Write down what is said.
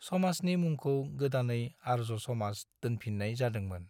समाजनि मुंखौ गोदानै आर्य समाज दोनफिननाय जादोंमोन।